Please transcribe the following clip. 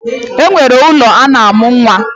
E nwere ụlọ a na-amụ nwa.